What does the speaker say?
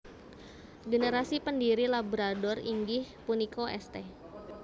Generasi pendhiri labrador inggih punika St